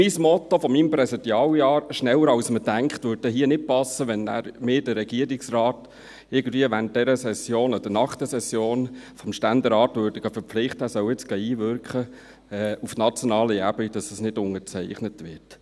Das Motto meines Präsidialjahres, «schneller als man denkt», würde hier nicht passen, wenn man den Regierungsrat irgendwie während oder nach dieser Session des Ständerates verpflichtete, er solle auf nationaler Ebene einwirken, damit es nicht unterzeichnet wird.